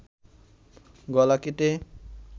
গলা কেটে